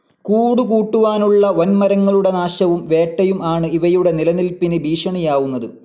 കൂട് കൂട്ടുവാനുള്ള വൻ മരങ്ങളുടെ നാശവും വേട്ടയും ആണ് ഇവയുടെ നിലനിൽപ്പിന് ഭീഷണിയാവുന്നത്.